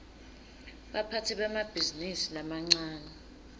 baphatsi bemabhizinisi lamancane